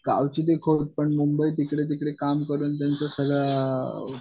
गावची ती खोड पण मुंबईत इकडे तिकडे काम करून तेंच सगळा